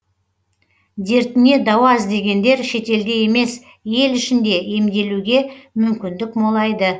дертіне дауа іздегендер шетелде емес ел ішінде емделуге мүмкіндік молайды